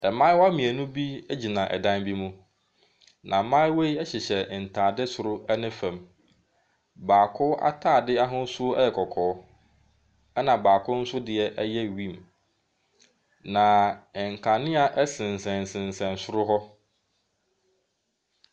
Mmaayewa mmienu bi gyina dan bi mju. Na mmayewa yi hyehyɛ ntaade soro ne fam. Baako ataade ahosuo yɛ kɔkɔɔ. Ɛna baako nso deɛ yɛ wim. Na nkanea ɛsensɛnsesɛn soro hɔ.